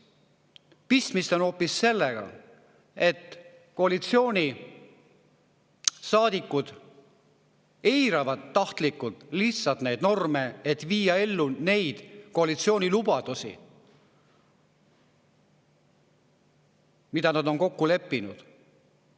Pistmist on hoopis sellega, et koalitsioonisaadikud eiravad lihtsalt tahtlikult norme, et viia ellu neid koalitsiooni lubadusi, milles nad on kokku leppinud.